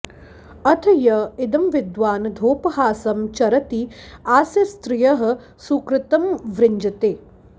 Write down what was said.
अथ य॒ इद॒म॒विद्वानधो॒पहासं च॒रति आ॒स्य स्त्रि॒यः सुकृतं॒ वृङ्जते